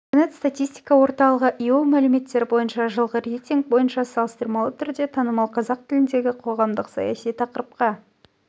интернет статистика орталығы ео мәліметтері бойынша жылғы рейтинг бойынша салыстырмалы түрде танымал қазақ тіліндегі қоғамдық-саяси тақырыпқа